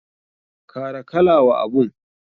Kara kala wa abun.